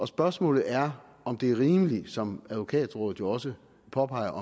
spørgsmålet er om det er rimeligt som advokatrådet jo også påpeger